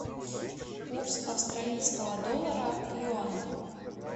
курс австралийского доллара к юаню